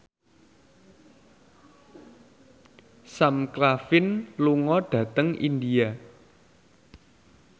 Sam Claflin lunga dhateng India